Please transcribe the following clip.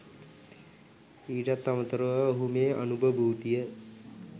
ඊටත් අමතරව ඔහු මේ අනුභභූතිය